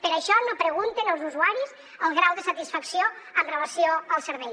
per això no pregunten als usuaris el grau de satisfacció amb relació al servei